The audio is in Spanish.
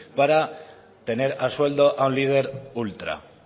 para tener a sueldo a un líder ultra